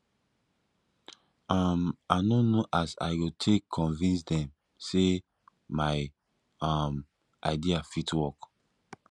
um i no know as i go take convince dem sey my um idea fit work